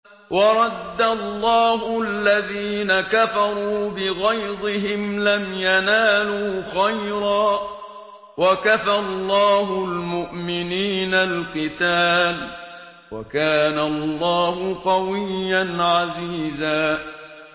وَرَدَّ اللَّهُ الَّذِينَ كَفَرُوا بِغَيْظِهِمْ لَمْ يَنَالُوا خَيْرًا ۚ وَكَفَى اللَّهُ الْمُؤْمِنِينَ الْقِتَالَ ۚ وَكَانَ اللَّهُ قَوِيًّا عَزِيزًا